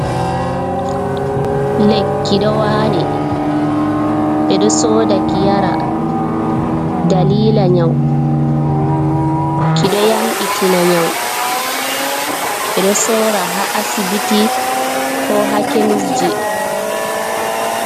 Lekki kidowali bedo soda ki yara dalila nyau, kido yambitina nyau be do sora ha asibiti ko ha kemisji.